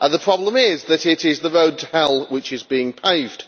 The problem is that it is the road to hell which is being paved.